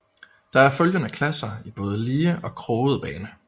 Der er følgende klasser i både lige og kroget bane